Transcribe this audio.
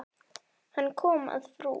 Hann kom að frú